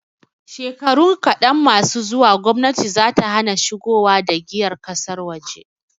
Shekaru kaɗan masu zuwa, gomnati zata hana shigowa da giyar ƙasar waje.